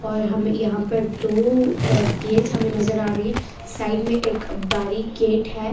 और हम यहाँ पर दो अ गेट्स हमें नजर आ रही है साइड में एक बारी गेट है।